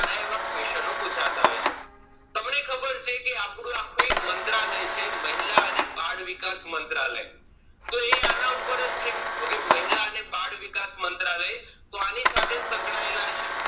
એવા question ઓ પૂછાતા હોય છે તમને ખબર છે ક આપણું આખું એક મંત્રાલય છે મહિલા અને બાળવિકાસ મંત્રાલય એ આના ઉપર જ છે હવે મહિલા અને બાળવિકાસ મંત્રાલય એ આની સાથે જ સંકળાયેલા છે